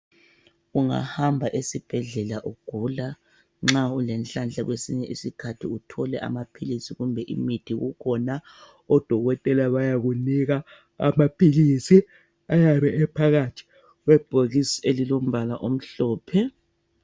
Ungahamba esibhedlela ugula nxa ulenhlanhla kwesinye isikhathi uthole amaphilisi kumbe imithi kukhona odokotela bayakunika amaphilisi ayabe ephakathi kwebhokisi elilombala omhlophe.